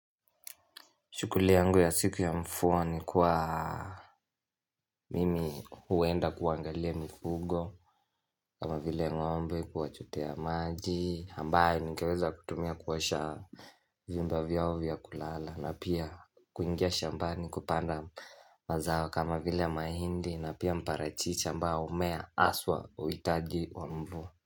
Shughuli yangu ya siku ya mvua ni kuwa mimi huenda kuangalia mifugo kama vile ng'ombe kuwachotea maji ambayo ningeweza kutumia kuosha vyumba vyao vya kulala na pia kuingia shambani kupanda mazao kama vile mahindi na pia mparachichi ambao humea haswa huhitaji wa mvua.